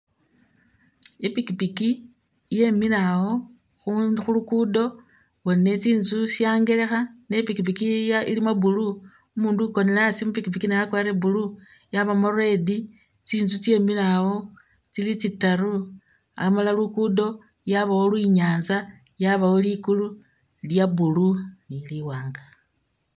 I pikipiki yemile awo khulugudo bona tsi ntsu syangelekha ne i pikipiki ilimo blue, umundu ukonele asi mu pikipiki naye akwarire blue yabamo red, tsi tsu tsemile awo tsili tsi taru amala lugudo yabawo i nyatsa yabawo ligulu lya blue ni li wanga.